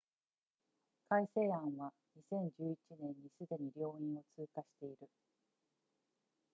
改正案は2011年にすでに両院を通過している